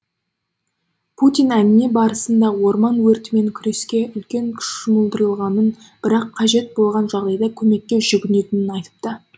путин әңгіме барысында орман өртімен күреске үлкен күш жұмылдырылғанын бірақ қажет болған жағдайда көмекке жүгінетінін айтыпты